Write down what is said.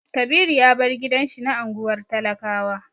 Kabiru ya bar gidan shi na unguwar talakawa.